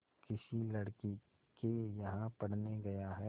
किसी लड़के के यहाँ पढ़ने गया है